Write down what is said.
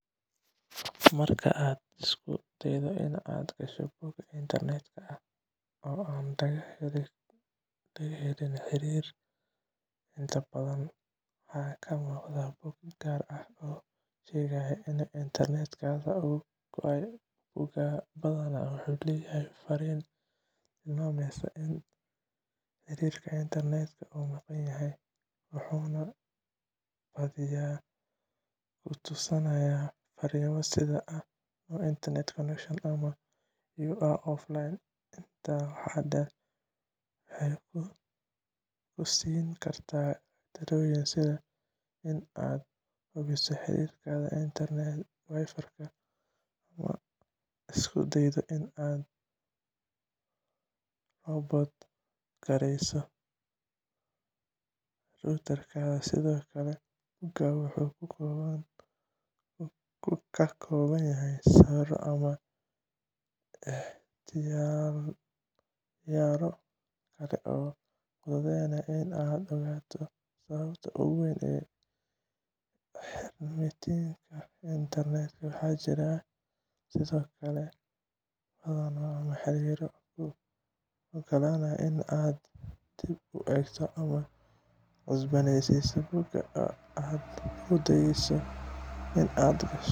Marka aad isku daydo inaad gasho bog internetka ah oo aan laga helin xiriir, inta badan waxaa kuu muuqda bog gaar ah oo kuu sheegaya in internetkaaga uu go'ay. Boggan badanaa wuxuu leeyahay fariin tilmaamaysa in xiriirka internetka uu maqan yahay, wuxuuna badiyaa ku tusinayaa farriimo sida "No internet connection" ama "You are offline". Intaa waxaa dheer, waxay ku siin kartaa talooyin sida in aad hubiso xiriirkaaga Wi-Fi, ama aad isku daydo inaad ka reboot-gareyso router-kaaga. Sidoo kale, boggaas wuxuu ka kooban karaa sawiro ama ikhtiyaarro kale oo fududeynaya in aad ogaato sababta ugu weyn ee xirmitaanka internetka. Waxaa jira sidoo kale badhano ama xiriirro kuu oggolaanaya inaad dib u eegto ama cusboonaysiiso bogga aad isku dayayso inaad gasho.